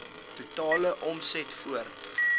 totale omset voor